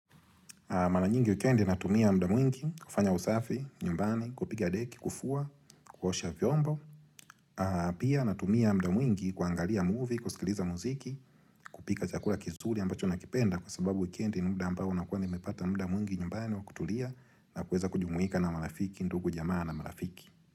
Mara nyingi wikendi natumia muda mwingi kufanya usafi, nyumbani, kupiga deki, kufua, kuosha vyombo. Pia natumia muda mwingi kuangalia movie, kusikiliza muziki, kupika chakula kizuri ambacho nakipenda kwa sababu wikendi ni muda ambao na kuwa nimepata muda mwingi nyumbani wa kutulia na kuweza kujumuika na marafiki, ndugu jamaa na marafiki.